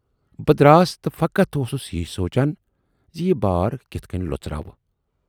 بہٕ دراس تہٕ فقط اوسُس یی سونچان زِ یہِ بار کِتھٕ کٔنۍ لۅژراوٕ۔